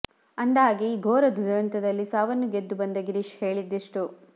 ಅಂದಹಾಗೆ ಈ ಘೋರ ದುರಂತದಲ್ಲಿ ಸಾವನ್ನು ಗೆದ್ದು ಬಂದ ಗಿರೀಶ್ ಹೇಳಿದ್ದಿಷ್ಟು